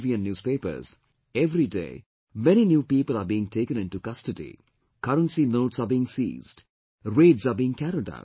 and newspapers, everyday many new people are being taken into custody, currency notes are being seized, raids are being carried out